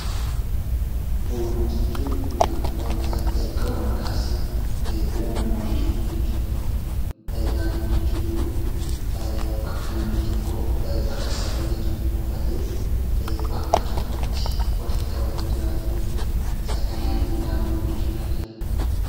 Uumama jechuun wanta jalqabumaa kaasee uumamumaan jiruu jechuudha. Naannoo jechuun immoo bakka namni tokkoo bakka isaa mijatu buufatee bakka tokkotti walitti qabamee jiraatu jechuudha. Isa kanaanii naannoo jechuu dandeenya.